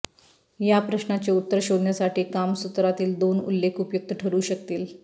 ह्या प्रश्नाचे उत्तर शोधण्यासाठी कामसूत्रातील दोन उल्लेख उपयुक्त ठरू शकतील